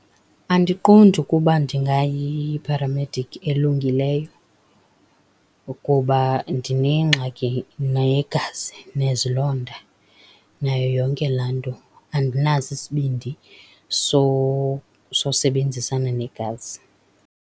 Andiqondi ukuba ndingayipharamedikhi elungileyo ukuba ndinengxaki negazi, nezilonda, nayo yonke laa nto. Andinaso isibindi sosebenzisana negazi.